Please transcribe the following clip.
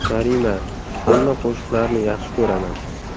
Karima :– Hamma qo‘shiqlarini yaxshi ko‘raman!